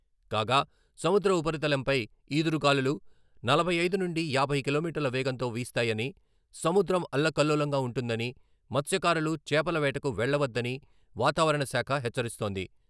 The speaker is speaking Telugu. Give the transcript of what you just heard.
కాగా, సముద్ర ఉపరితలంపై ఈదురుగాలులు నలభై ఐదు నుండి యాభై కిలోమీటర్ల వేగంతో వీస్తాయని, సముద్రం అల్లకల్లోలంగా ఉంటుందని, మత్స్యకారులు చేపల వేటకు వెళ్ళవద్దని వాతావరణ శాఖ హెచ్చరిస్తోంది.